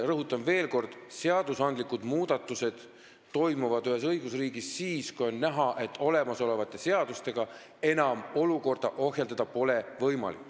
Rõhutan veel kord, et seadusmuudatusi tehakse ühes õigusriigis siis, kui on näha, et olemasolevate seadustega pole enam võimalik olukorda ohjeldada.